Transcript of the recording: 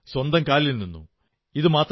അവർ സ്വന്തം കാലിൽ നിന്നു